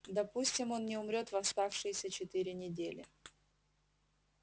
допустим он не умрёт в оставшиеся четыре недели